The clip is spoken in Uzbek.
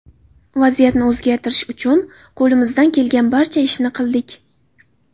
Vaziyatni o‘zgartirish uchun qo‘limizdan kelgan barcha ishni qildik.